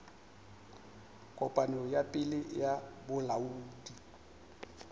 kopano ya pele ya bolaodi